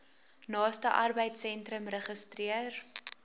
naaste arbeidsentrum registreer